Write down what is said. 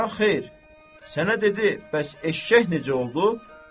Ya xeyr, sənə dedi: bəs eşşək necə oldu?